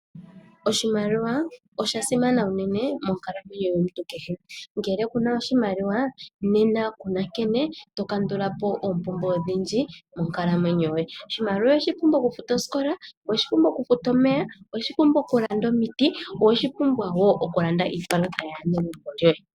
Oshimaliwa osha simana unene monkalamwenyo yomuntu kehe. Ngele kuna oshimaliwa nena kuna nkene to kandula po oompumbwe odhindji monkalamwenyo yoye. Oshimaliwa oweshi pumbwa okufuta osikola, oweshi pumbwa okufuta omeya, oweshi pumbwa okulanda omiti , oweshi pumbwa wo okulanda iipalutha yaanegumbo lyoye.